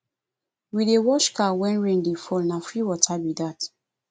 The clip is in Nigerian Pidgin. we dey wash car wen rain dey fall na free water be dat